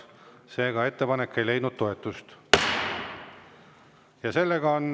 Seega ettepanek ei leidnud toetust.